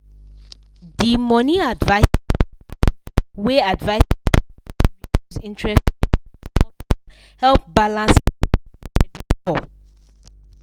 the money adviser plan wey adviser plan wey reduce interest rate for small time help balance clients credit score.